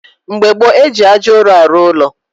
Mgbe gboo, eji ájá ụrụ arụ ụlọ